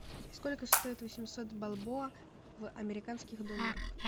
сколько стоит восемьсот бальбоа в американских долларах